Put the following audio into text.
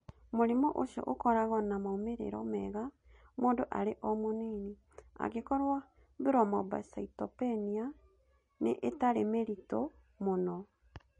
Mũrimũ ũcio ũkoragwo na moimĩrĩro mega mũndũ arĩ o mũnini, angĩkorũo thrombocytopenia nĩ ĩtarĩ mĩritũ mũno.